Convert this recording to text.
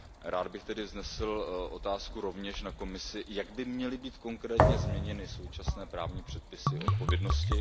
Rád bych tedy vznesl otázku rovněž na Komisi Jak by měly být konkrétně změněny současné právní předpisy odpovědnosti?